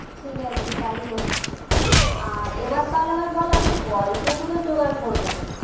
ঠিকাছে তাই হোক আর এবার তাহলে আমাকে বল, আমি গল্পগুলো জোগাড় করবো কোথায়?